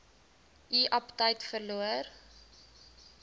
u aptyt verloor